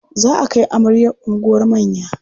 Za a kai amaryar unguwar manya.